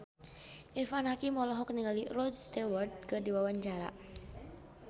Irfan Hakim olohok ningali Rod Stewart keur diwawancara